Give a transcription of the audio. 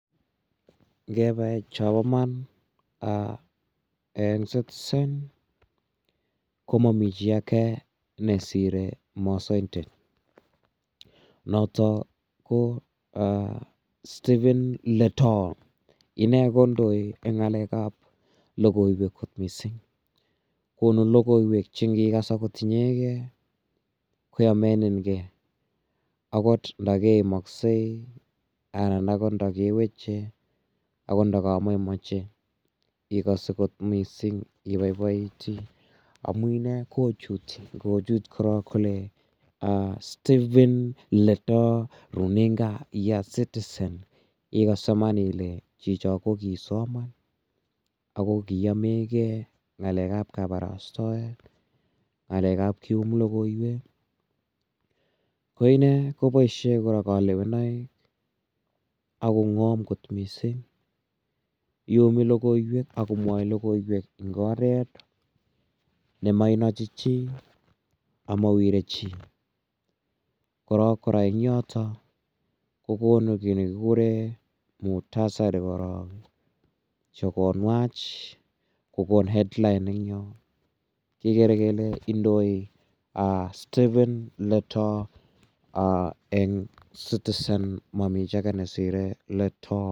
Ngepa chapa man eng' Citizen ko mami chi age ne sire masaindet notok ko Stephen Letoo. Inendet kondoi eng' ng'alek ap logoiwek kot missing'. Konu logoiwek che ngikas agot inyegei ko yamenin gei akot nda keimaksei anan akot nda keweche agot ndakamaimache ikas akot missing'. Ipaipaiti amu inendet kochuuti angochuut korok kole "Stephen Letoooo runinga ya Citizen" igase iman ile chicho ko kisoma ako kiyame gei ng'alek ap kaparastoet, ng'alek ap kium logoiwek, ko ine kopaishe kora kalewenaik ak kong'am kot missing'. Iumi logoiwek akomwae logoiwek eng' oret ne mainachi chi ama wire chi. Korok kora eng' yotok ko konu ki ne kikure mukhtasari korok chu konwach, ko kon headline en yo kekere kole indoi Stephen Letoo eng' Citizen amami chi age ne sire Letoo.